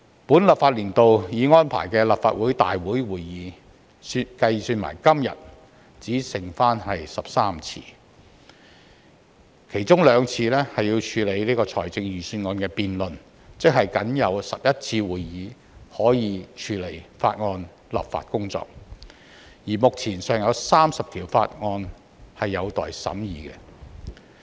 本立法年度已安排的立法會會議，包括今天，只剩下13次，其中兩次要處理財政預算案辯論，即僅有11次會議可以處理法案立法工作，而目前尚有30項法案有待審議。